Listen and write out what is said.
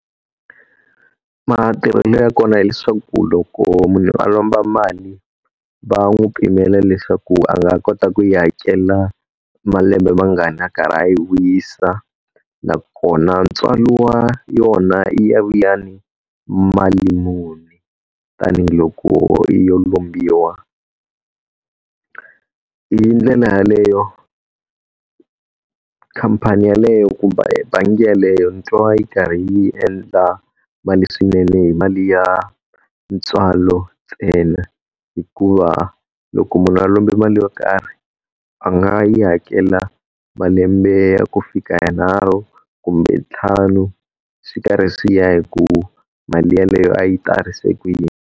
Matirhelo ya kona hileswaku loko munhu a lomba mali va n'wi pimela leswaku a nga kota ku yi hakela malembe mangani a karhi a yi vuyisa. Nakona ntswalo wa yona yi ya vuya ni mali muni, tanihiloko yo lombiwa. Hi ndlela yaleyo khampani yaleyo kumbe bangi yaleyo ni twa yi karhi yi endla mali swinene hi mali ya ntswalo ntsena, hikuva loko munhu a lombe mali yo karhi a nga yi hakela malembe ya ku fika yanharhu kumbe ntlhanu swi karhi swi ya hi ku mali yeleyo a yi tarise kuyini.